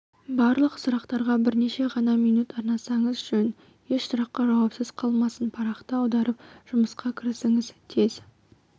барлық сұрақтарға бірнеше ғана минут арнағаныңыз жөн еш сұрақ жауапсыз қалмасын парақты аударып жұмысқа кірісіңіз тез